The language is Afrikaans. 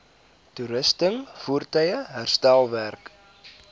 toerusting voertuie herstelwerk